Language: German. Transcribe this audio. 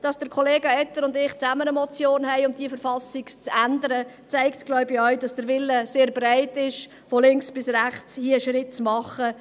Dass Kollega Etter und ich zusammen eine Motion eingereicht haben um die Verfassung zu ändern, zeigt wohl auch, dass der Wille von links bis rechts sehr verbreitet ist, hier einen Schritt zu tun.